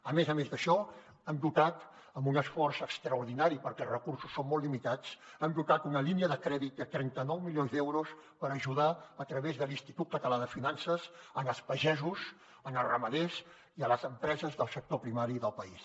a més a més d’això hem dotat amb un esforç extraordinari perquè els recursos són molt limitats una línia de crèdit de trenta nou milions d’euros per ajudar a través de l’institut català de finances els pagesos els ramaders i les empreses del sector primari del país